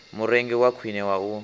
murengi wa khwine wa u